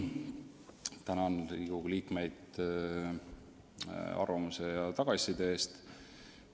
Tänan Riigikogu liikmeid arvamuste ja tagasiside eest!